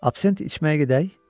Absenti içməyə gedək?